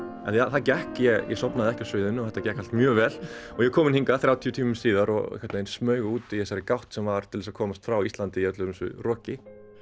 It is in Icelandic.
það gekk ég sofnaði ekki á sviðinu og það gekk mjög vel og ég er kominn hingað þrjátíu tímum síðar og einhvern veginn smaug út í þessari gátt sem var til þess að komast frá Íslandi í öllu þessu roki